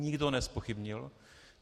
Nikdo nezpochybnil.